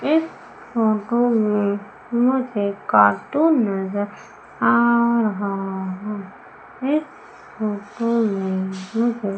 इस फोटो में मुझे कार्टून नजर आ रहा है